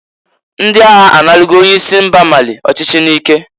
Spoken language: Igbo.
Ndị agha a narago onye isi mba Mali ọchịchị n'ike.